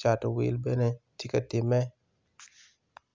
cato wil bene tye ka timme